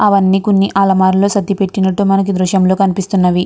అవన్నీ కొన్ని అలమార్ లో సర్దిపెట్టినట్టు మనకీ దృశ్యం లో కనిపిస్తున్నది.